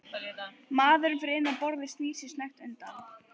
Maðurinn fyrir innan borðið snýr sér snöggt undan.